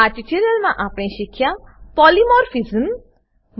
આ ટ્યુટોરીયલમાં આપણે શીખ્યા પોલિમોર્ફિઝમ પોલીમોર્ફીઝમ